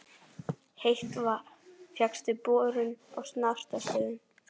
Heitt vatn fékkst við borun á Snartarstöðum í